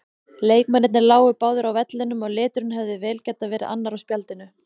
Leikmennirnir lágu báðir á vellinum og liturinn hefði vel getað verið annar á spjaldinu.